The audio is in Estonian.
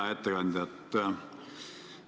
Hea ettekandja!